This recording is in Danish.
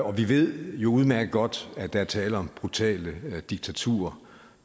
og vi ved jo udmærket godt at der er tale om brutale diktaturer